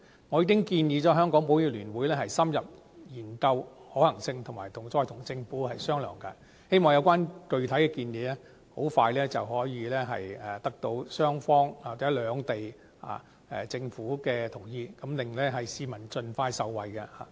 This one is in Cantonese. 我已經建議香港保險業聯會深入研究可行性，以及再與政府商討，希望有關具體建議可以盡快得到雙方或兩地政府的同意，讓市民盡快受惠。